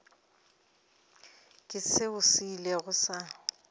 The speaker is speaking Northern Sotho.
ke seo se ilego sa